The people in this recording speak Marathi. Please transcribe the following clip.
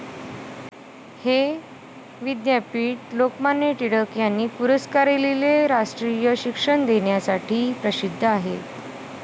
हे विद्यापीठ लोकमान्य टिळक यांनी पुरस्कारिलेले राष्ट्रीय शिक्षण देण्यासाठी प्रसिद्ध आहे.